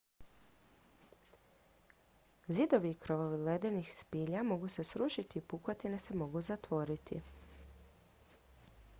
zidovi i krovovi ledenih spilja mogu se srušiti i pukotine se mogu zatvoriti